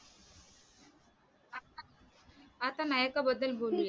आता नायका बद्दल बोलूया